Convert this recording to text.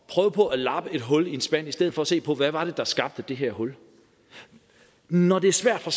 prøve på at lappe et hul i en spand i stedet for at se på hvad det var der skabte det her hul når det er svært for